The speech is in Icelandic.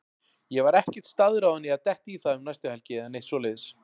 Ég var ekkert staðráðinn í að detta í það um næstu helgi eða neitt svoleiðis.